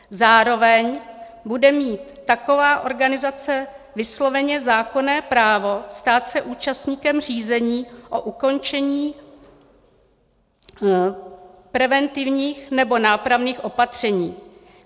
Zároveň bude mít taková organizace vysloveně zákonné právo stát se účastníkem řízení o ukončení preventivních nebo nápravných opatření.